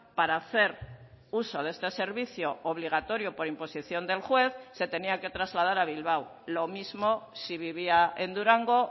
para hacer uso de este servicio obligatorio por imposición del juez se tenía que trasladar a bilbao lo mismo si vivía en durango